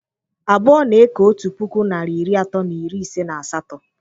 Abụọ na eke otu puku narị iri atọ na iri ise na asatọ